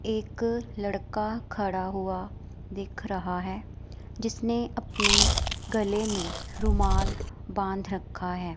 एक लड़का खड़ा हुआ दिख रहा है जिसने अपने गले में रुमाल बांध रखा है।